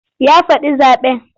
Ya faɗi zaɓen.